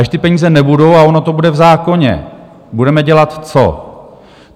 Až ty peníze nebudou a ono to bude v zákoně, budeme dělat co?